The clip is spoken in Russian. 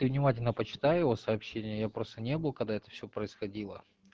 ты внимательно почитай его сообщение я просто не был когда это всё происходило